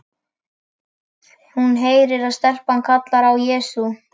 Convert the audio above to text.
Hún heyrir að stelpan kallar á Jesú.